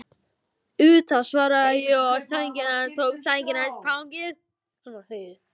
Auðvitað, svaraði ég og tók sængina hans í fangið.